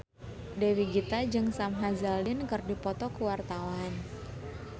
Dewi Gita jeung Sam Hazeldine keur dipoto ku wartawan